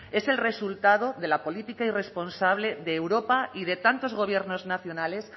es el resultado de la política irresponsable de europa y de tantos gobiernos nacionales